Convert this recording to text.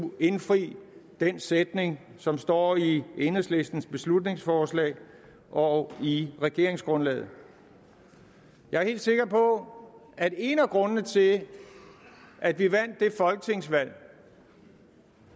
indfri den sætning som står i enhedslistens beslutningsforslag og i regeringsgrundlaget jeg er helt sikker på at en af grundene til at vi vandt det folketingsvalg